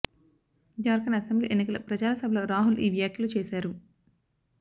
Jharkhand assembly ఎన్నికల ప్రచార సభలో రాహుల్ ఈ వ్యాఖ్యలు చేశారు